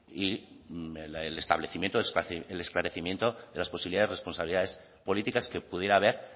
y el esclarecimiento de las posibilidades responsabilidades políticas que pudiera haber